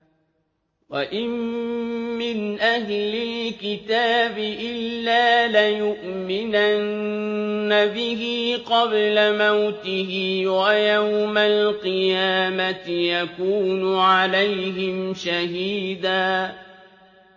وَإِن مِّنْ أَهْلِ الْكِتَابِ إِلَّا لَيُؤْمِنَنَّ بِهِ قَبْلَ مَوْتِهِ ۖ وَيَوْمَ الْقِيَامَةِ يَكُونُ عَلَيْهِمْ شَهِيدًا